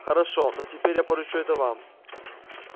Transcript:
хорошо но теперь я поручу это вам